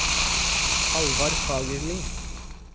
Hallvard Fagerli